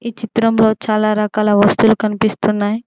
ఈ చిత్రంలో చాలా రకాల వస్తులు కనిపిస్తున్నాయి.